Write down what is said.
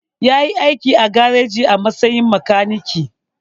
Ya yi aiki a gareji a matsayin makaniki.